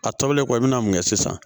A tɔlen kɔ i bɛna mun kɛ sisan